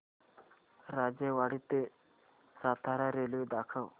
राजेवाडी ते सातारा रेल्वे दाखव